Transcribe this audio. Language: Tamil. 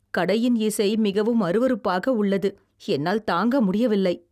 கடையின் இசை மிகவும் அருவருப்பாக உள்ளது , என்னால் தாங்க முடியவில்லை.